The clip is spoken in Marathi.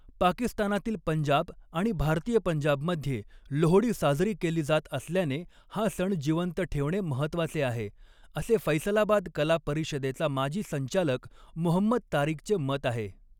पाकिस्तानातील पंजाब आणि भारतीय पंजाबमध्ये लोहडी साजरी केली जात असल्याने हा सण जिवंत ठेवणे महत्त्वाचे आहे, असे फैसलाबाद कला परिषदेचा माजी संचालक मुहम्मद तारिकचे मत आहे.